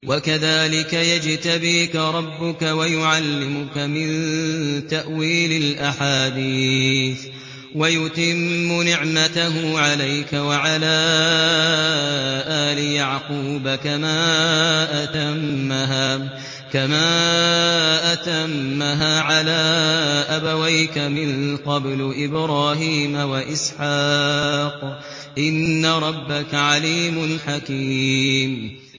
وَكَذَٰلِكَ يَجْتَبِيكَ رَبُّكَ وَيُعَلِّمُكَ مِن تَأْوِيلِ الْأَحَادِيثِ وَيُتِمُّ نِعْمَتَهُ عَلَيْكَ وَعَلَىٰ آلِ يَعْقُوبَ كَمَا أَتَمَّهَا عَلَىٰ أَبَوَيْكَ مِن قَبْلُ إِبْرَاهِيمَ وَإِسْحَاقَ ۚ إِنَّ رَبَّكَ عَلِيمٌ حَكِيمٌ